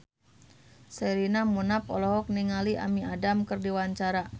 Sherina Munaf olohok ningali Amy Adams keur diwawancara